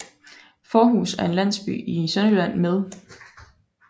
Fårhus er en landsby i Sønderjylland med